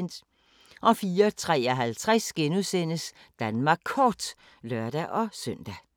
04:53: Danmark Kort *(lør-søn)